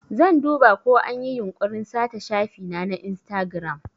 Zan duba ko anyi yunkurin sata shafina na Instagram.